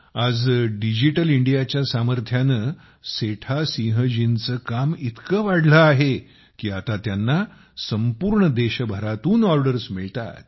आज डिजिटल इंडियाच्या सामर्थ्याने सेता सिंह जींचे काम इतके वाढले आहे की आता त्यांना संपूर्ण देशभरातून ऑर्डरस मिळतात